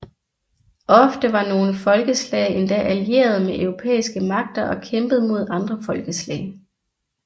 Ofte var nogle folkeslag endda allierede med europæiske magter og kæmpede mod andre folkeslag